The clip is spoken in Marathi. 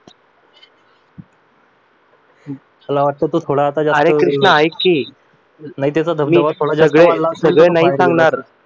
मला वाटत तो थोडा आता जास्त नाही त्याचा धबधबा जास्त वाढला